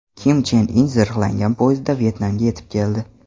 Kim Chen In zirhlangan poyezdda Vyetnamga yetib keldi.